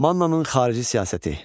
Mannanın xarici siyasəti.